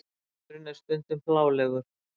Maðurinn er stundum hlálegur.